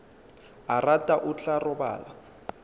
a rata o tla robala